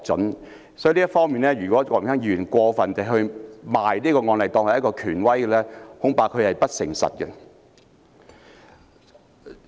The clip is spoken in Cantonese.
因此，就這方面，如果郭榮鏗議員過分地以這個案例作為權威，恐怕他是不誠實的。